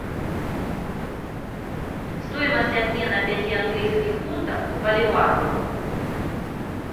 стоимость обмена пяти английских фунтов к боливару